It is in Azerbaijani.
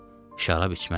Şərab içməzsən.